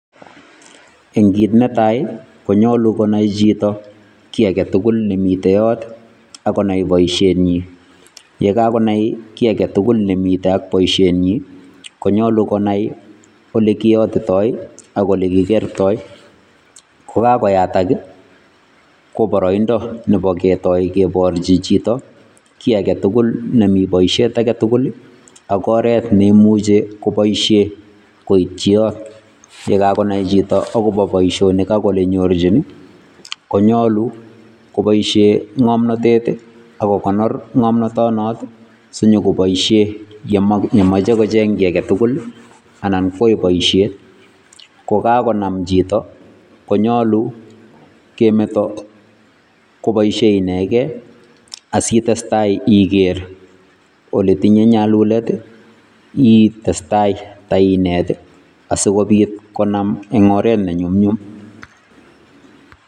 Eng' kiit netai konyolu konai chito ki age tugul nemite yot, akonai boisiet nyi. Ye kagonai ki age tugul nemitei ak boisiet nyi, konyalu konai ole kiyotitoi ak ole kigertoi. Kokagoyatak ii, koboroindo nebo ketoi keborchi chito ki age tugul nemi boisiet age tugul ak oret neimuche koboisie koitchi yot. Ye kagonai chito agobo boisionik ak ole nyorchin ii, konyalu koboisie ng'omnotet ii ak kogonor ng'omnotonot sinyokoboisie yemok yemoche kocheng ki age tugul anan kwai boisiet. Kogagonam chito, konyalu kemeto koboisie inegei asitestai iger ole tinye nyalulet ii, itestai tainet asikobit konam eng' oret nenyumnyum.